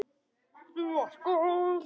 Þú ert góð!